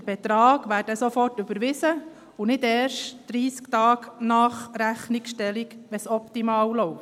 Der Betrag wäre sofort überwiesen, und nicht erst 30 Tage nach Rechnungsstellung, wenn es optimal läuft.